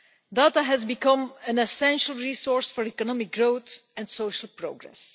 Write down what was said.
Data has become an essential resource for economic growth and social progress.